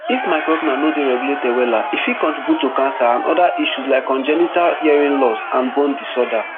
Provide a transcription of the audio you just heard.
if microrna no dey regulated wella e fit contribute to cancer and oda issues like congenital hearing loss and bone disorder